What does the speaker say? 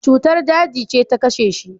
Cutar daji ce ta kashe shi.